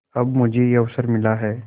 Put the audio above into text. अब मुझे यह अवसर मिला है